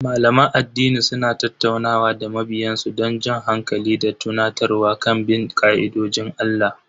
Malaman addini suna tattaunawa da mabiyan su don jan hankali da tunatarwa kan bin ka'idojin Allah.